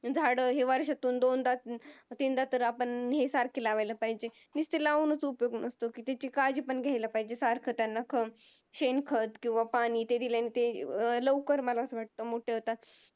झाड हे वर्षांतून दोनदा तीनदा तर आपण ही सारखी आपण लावला पाहिजेत नुसता लावूनच उपयोग नसतो काळजी पण घ्यायला पाहिजेत सारखा त्यांना खत शेण खत किव्हा पाणी ते दिल्याने लवकर मला अस वाटत मोठे होतात.